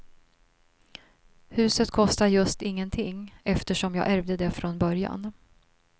Huset kostar just ingenting eftersom jag ärvde det från början.